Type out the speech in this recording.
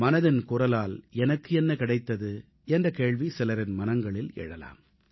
மனதின் குரலால் எனக்கு என்ன கிடைத்தது என்ற கேள்வி சிலரின் மனங்களில் எழலாம்